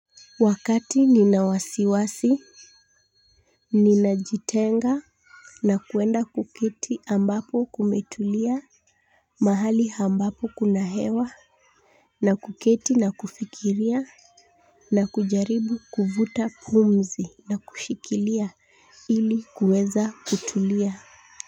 Wakati nina wasiwasi ninajitenga na kuenda kuketi ambapo kumetulia. Mahali ambapo kuna hewa na kuketi na kufikiria na kujaribu kuvuta pumzi na kushikilia ili kuweza kutulia.